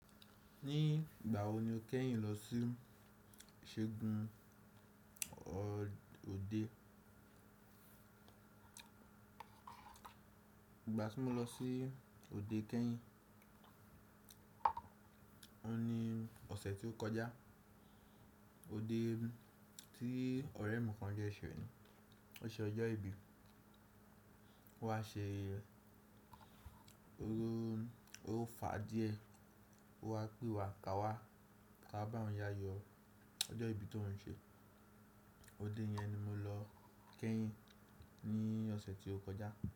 Ní ìgbà wo ni o kẹ́yìn lọ sí ṣe gun òde? Ìgbà tí mo lọ sí òde kẹ́yìn, òun ni ọ̀sẹ̀ tí ó kọjá. Òde tí ọ̀rẹ́ mi kan jẹ́ ṣe nù. Ó ṣe ọjọ́ ìbí. Ó wá ṣe Ó rọ, ó fà díẹ̀. Ó wá pè wà, "Ká wá, ká bá ọ̀un yayo ọjọ́ ìbí tó ń ṣe." Òde yẹn ni mo lọ kẹ́yìn ní ọ̀sẹ̀ tí ó kọjá.